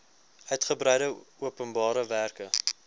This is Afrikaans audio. uigebreide openbare werke